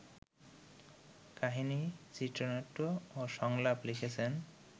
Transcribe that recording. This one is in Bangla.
কাহিনি, চিত্রনাট্য ও সংলাপ লিখেছেন